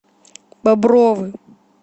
бобровы